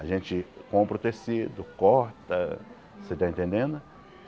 A gente compra o tecido, corta, você está entendendo?